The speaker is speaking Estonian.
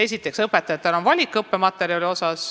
Esiteks, õpetajatel on õigus õppematerjale valida.